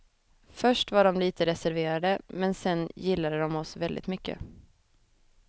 Först var de litet reserverade, men sedan gillade de oss väldigt mycket.